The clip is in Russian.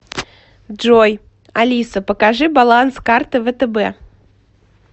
джой алиса покажи баланс карты втб